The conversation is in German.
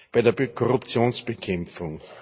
bei der Korruptionsbekämpfung.